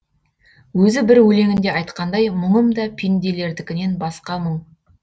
өзі бір өлеңінде айтқандай мұңым да пенделердікінен басқа мұң